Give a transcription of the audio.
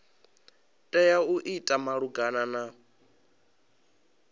tea u ita malugana na